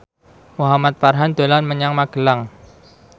Muhamad Farhan dolan menyang Magelang